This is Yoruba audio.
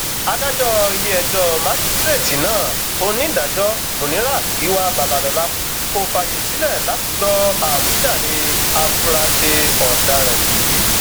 adájọ iléẹjọ májísrèétì náà onídàájọ muniratgiwa babalọla kò fààyè sílẹ láti gbọ àwíjàre àfúráṣe ọdaràn yìí